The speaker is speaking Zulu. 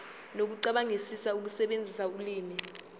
nokucabangisisa ukusebenzisa ulimi